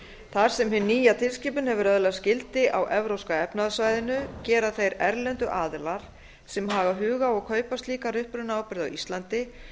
þar sem hin nýja tilskipun hefur öðlast gildi á evrópska efnahagssvæðinu gera þeir erlendu aðilar sem hafa hug á að kaupa slíkar upprunaábyrgð á íslandi